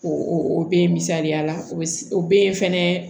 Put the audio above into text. O o be yen misaliyala o be yen fɛnɛ